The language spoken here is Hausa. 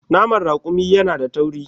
Naman raƙumi yana da tauri.